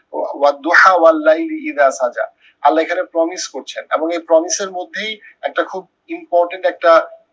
আল্লাকে একটা promise করছে এবং এই promise এর মধ্যেই একটা খুব important একটা